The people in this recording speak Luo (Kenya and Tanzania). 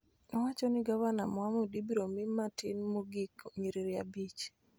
Owacho ni Gavana Mohamud ibiro mi matin mogik nyiriri abich